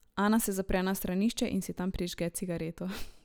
Ana se zapre na stranišče in si tam prižge cigareto.